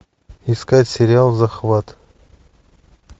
искать сериал захват